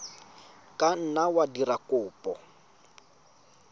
ka nna wa dira kopo